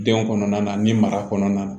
Denw kɔnɔna na ni mara kɔnɔna na